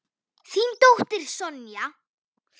Þín dóttir Sonja.